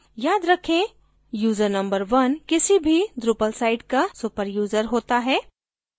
याद रखेंयूज़र number 1 किसी भी drupal site का super यूज़र होता है